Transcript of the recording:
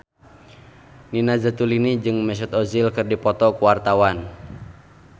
Nina Zatulini jeung Mesut Ozil keur dipoto ku wartawan